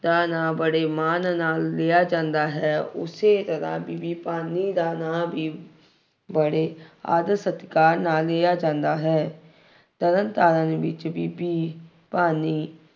ਦਾ ਨਾਂ ਬੜੇ ਮਾਨ ਨਾਲ ਲਿਆ ਜਾਂਦਾ ਹੈ। ਉਸੇ ਜਗ੍ਹਾ ਬੀਬੀ ਭਾਨੀ ਦਾ ਨਾਂ ਵੀ ਬੜੇ ਆਦਰ ਸਤਿਕਾਰ ਨਾਲ ਲਿਆ ਜਾਂਦਾ ਹੈ। ਤਰਨਤਾਰਨ ਵਿੱਚ ਬੀਬੀ ਭਾਨੀ